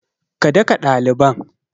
Ka daka ɗaliban!